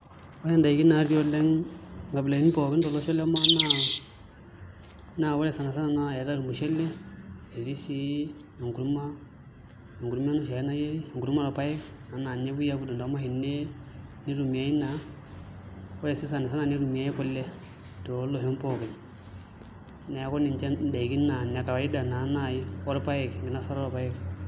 Ore ndaiki natii oleng' nkabilaitin tolosho le Kenya naa ore sana sana eetai ormushele etii sii enkurma, enkurma enoshi ake nayieri enkurma orpaek ena naa ninye epuoi aidong' toomashinini nitumiai naa, ore sii sani sana nitumiai kule tooloshon pookin, neeku ninche ndaikin naa inekawaida naai orpaek, enkinosata orpaek.